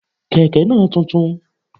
Kẹ̀ké náà tuntun